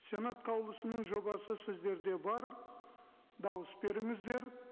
сенат қаулысының жобасы сіздерде бар дауыс беріңіздер